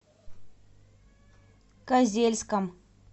козельском